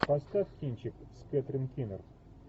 поставь кинчик с кэтрин кинер